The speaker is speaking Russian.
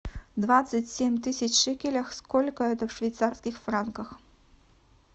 двадцать семь тысяч шекелей сколько это в швейцарских франках